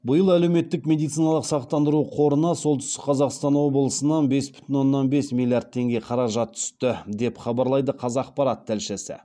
биыл әлеуметтік медициналық сақтандыру қорына солтүстік қазақстан облысынан бес бүтін оннан бес миллиард теңге қаражат түсті деп хабарлайды қазақпарат тілшісі